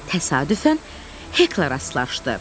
Təsadüfən Heklə rastlaşdı.